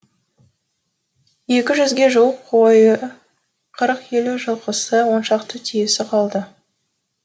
екіжүзге жуық қойы қырық елу жылқысы он шақты түйесі қалды